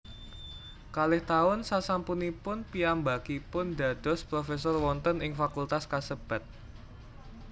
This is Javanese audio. Kalih taun sasampunipun piyambakipun dados profesor wonten ing fakultas kasebat